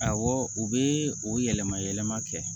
Awɔ u bɛ o yɛlɛma yɛlɛma kɛ